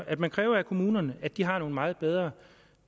at man kræver af kommunerne at de har nogle meget bedre